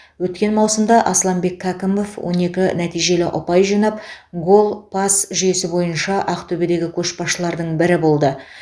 өткен маусымда асланбек кәкімов он екі нәтижелі ұпай жинап гол пас жүйесі бойынша ақтөбедегі көшбасшылардың бірі болды